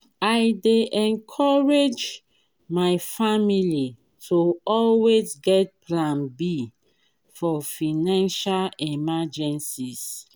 i dey encourage my family to always get plan b for financial emergencies.